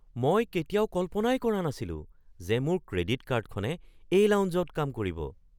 মই কেতিয়াও কল্পনাই কৰা নাছিলো যে মোৰ ক্ৰেডিট কাৰ্ডখনে এই লাউঞ্জত কাম কৰিব!